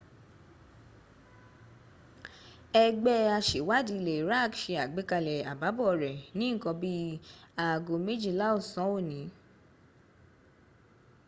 ẹgbẹ́ aṣèwádìí ilẹ̀ iraq se àgbékalẹ̀ àbábọ̀ rẹ̀ ní nǹkan bí i aago méjìlá ọ̀sán òní